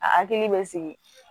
A hakili bɛ sigi